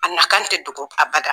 A na kan tɛ dogo a bada.